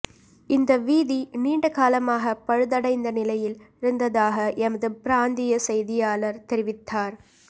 இந்த வீதி நீண்ட காலமாக பழுதடைந்த நிலையில் இருந்ததாக எமது பிராந்திய செய்தியாளர் தெரிவித்தார்